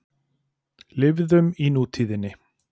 Lifðum í nútíðinni.